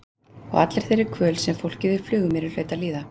Og allri þeirri kvöl sem fólkið á Flugumýri hlaut að líða.